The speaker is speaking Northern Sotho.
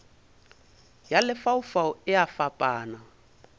ya lefaufau e a fapana